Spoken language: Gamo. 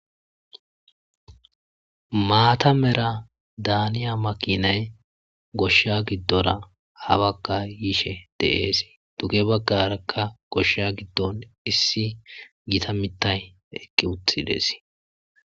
maata mera daaniya makinay goshsha giddora habaka yishe deees duge baggarakka goshsha giddon issi giita mitay ekki uthidees